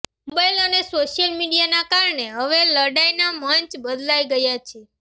mobile અને social મીડિયાના કારણે હવે લડાઈના મંચ બદલાઈ ગયા છે